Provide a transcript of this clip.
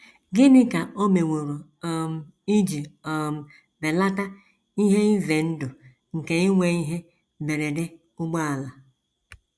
Gịnị ka o meworo um iji um belata ihe ize ndụ nke inwe ihe mberede ụgbọala?